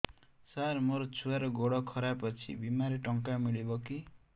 ସାର ମୋର ଛୁଆର ଗୋଡ ଖରାପ ଅଛି ବିମାରେ ଟଙ୍କା ମିଳିବ କି